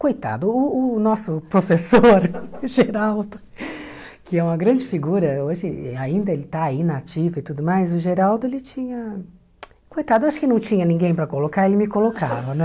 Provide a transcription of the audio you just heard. Coitado, o o nosso professor, Geraldo, que é uma grande figura, hoje ainda ele está aí, na ativa e tudo mais, o Geraldo, ele tinha... Coitado, eu acho que não tinha ninguém para colocar, ele me colocava, né?